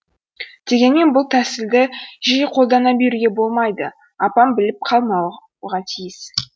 дегенмен бұл тәсілді жиі қолдана беруге болмайды апам біліп қалмауға тиіс